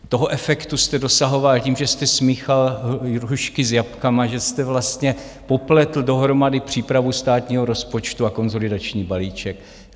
Toho efektu jste dosahoval tím, že jste smíchal hrušky s jabkama, že jste vlastně popletl dohromady přípravu státního rozpočtu a konsolidační balíček.